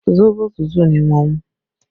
Sóbò tútù ni mo mú